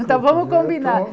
Então, vamos combinar.